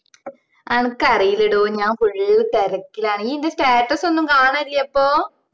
അനക്കറിയില്ലെടോ ഞാൻ full തിരക്കിലാണ് ഇ ൻറെ status ഒന്നു കാണലില്ലേ അപ്പൊ